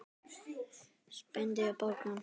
Spenni bogann.